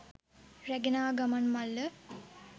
රැගෙන ආ ගමන් මල්ල